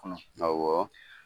awɔ